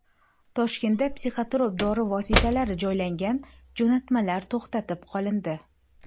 Toshkentda psixotrop dori vositalari joylangan jo‘natmalar to‘xtatib qolindi.